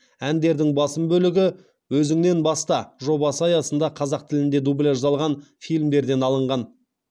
әндердің басым бөлігі өзіңнен баста жобасы аясында қазақ тіліне дубляждалған фильмдерден алынған